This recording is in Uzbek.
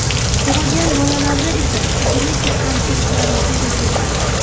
Tug‘ilgan bolalarda esa genetik kamchiliklar yuzaga kelgan.